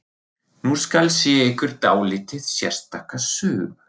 Nú skal segja ykkur dálítið sérstaka sögu.